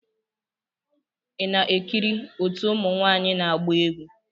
Ị na-ekiri otu ụmụ nwanyị na-agba egwu.